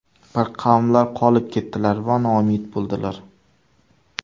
Bir qavmlar qolib ketdilar va noumid bo‘ldilar.